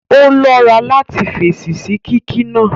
Ó lọ́ra láti fèsì sí kíkí náà